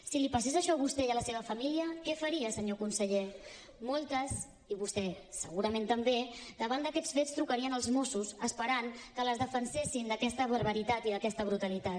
si li passés això a vostè i a la seva família què faria senyor conseller moltes i vostè segurament també davant d’aquests fets trucarien als mossos esperant que les defensessin d’aquesta barbaritat i d’aquesta brutalitat